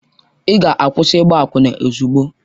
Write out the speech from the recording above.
Ị ga-akwụsị ịgba akwụna ozugbo!